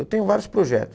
Eu tenho vários projetos.